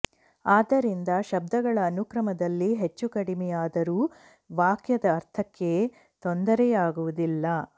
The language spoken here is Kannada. ಅದ್ದರಿಂದ ಶಬ್ಧಗಳ ಅನುಕ್ರಮದಲ್ಲಿ ಹೆಚ್ಚು ಕಡಿಮೆಯಾದರೂ ವಾಕ್ಯದ ಅರ್ಥಕ್ಕೆ ತೊಂದರೆಯಾಗುವುದಿಲ್ಲ